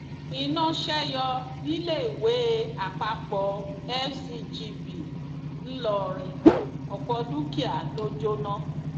iná ṣe yọ níléèwọpàpọ fcgb ńlọrọrìn ọpọ dúkìá ló jóná